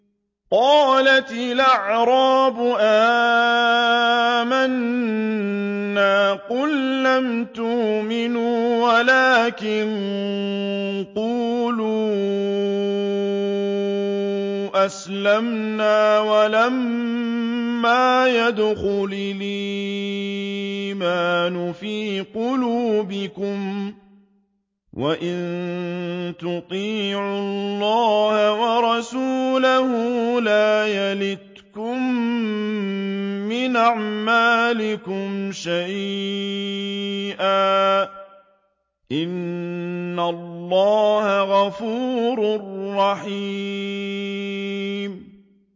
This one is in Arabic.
۞ قَالَتِ الْأَعْرَابُ آمَنَّا ۖ قُل لَّمْ تُؤْمِنُوا وَلَٰكِن قُولُوا أَسْلَمْنَا وَلَمَّا يَدْخُلِ الْإِيمَانُ فِي قُلُوبِكُمْ ۖ وَإِن تُطِيعُوا اللَّهَ وَرَسُولَهُ لَا يَلِتْكُم مِّنْ أَعْمَالِكُمْ شَيْئًا ۚ إِنَّ اللَّهَ غَفُورٌ رَّحِيمٌ